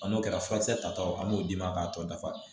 A n'o kɛra furakisɛ tataw an b'o d'i ma k'a tɔ dafa